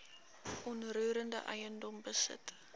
onroerende eiendom besit